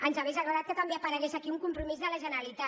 ens hauria agradat que també aparegués aquí un compromís de la generalitat